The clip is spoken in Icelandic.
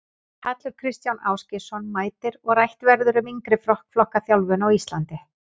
Hallur Kristján Ásgeirsson mætir og rætt verður um yngri flokka þjálfun á Íslandi.